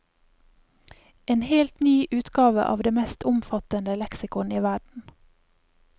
En helt ny utgave av det mest omfattende leksikon i verden.